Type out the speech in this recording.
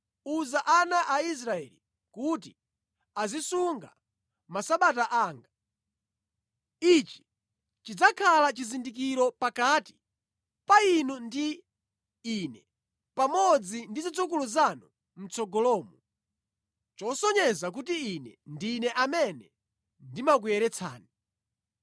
“Uza ana a Israeli kuti azisunga Masabata anga. Ichi chidzakhala chizindikiro pakati pa inu ndi Ine pamodzi ndi zidzukulu zanu mʼtsogolomo, chosonyeza kuti Ine ndine amene ndimakuyeretsani.